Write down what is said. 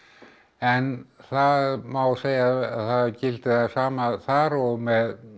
en það má segja að það gildi það sama þar og með